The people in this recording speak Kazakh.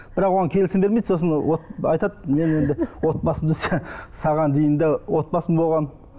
бірақ оған келісім бермейді сосын айтады мен енді отбасымды саған дейін де отбасым болған